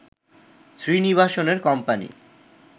শ্রীনিবাসনের company